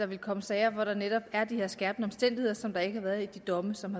vil komme sager hvor der netop er de her skærpende omstændigheder som der ikke været i de domme som